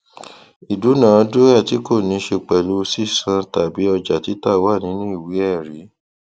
ìdúnàádúràá tí kò níṣe pẹlú sísán tàbí ọjà títà wà nínú ìwé ẹrí